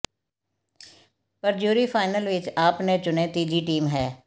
ਪਰ jury final ਵਿਚ ਆਪਣੇ ਚੁਣੇ ਤੀਜੀ ਟੀਮ ਹੈ